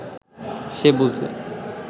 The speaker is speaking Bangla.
সে বুঝলে